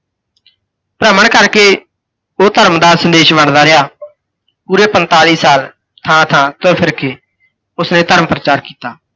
ਭ੍ਰਮਣ ਕਰਕੇ, ਓਹ ਧਰਮ ਦਾ ਸੰਦੇਸ਼ ਵੰਡਦਾ ਰਿਹਾ। ਪੂਰੇ ਪੰਤਾਲੀ ਸਾਲ ਥਾਂ-ਥਾਂ ਤੁਰ ਫਿਰ ਕੇ, ਉਸਨੇ ਧਰਮ ਪ੍ਰਚਾਰ ਕੀਤਾ।